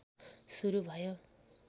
शुरु भयो